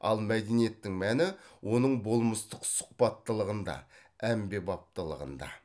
ал мәдениеттің мәні оның болмыстық сұхбаттылығында әмбебаптылығында